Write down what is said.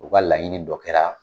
U ka laɲini dɔ kɛra